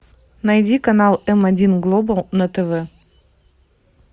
найди канал м один глобал на тв